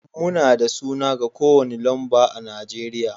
Muna da suna ga kowane lamba a Najeriya